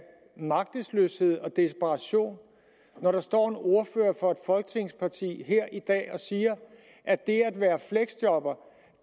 magtesløshed og desperation når der står en ordfører for et af folketingets partier her i dag og siger at det at være fleksjobber